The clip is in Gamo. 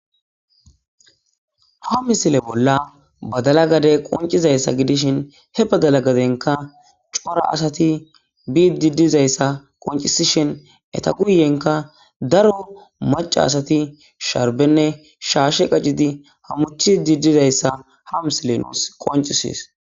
ha misile bolla badala gade qoncizayssa gidishin he badala gadenka cora asati bii didizayssa qoncisishin eta guyenka daro maca asati sharbenne shaashe qacidi hamutidi dizayssa ha misile nuus qoncises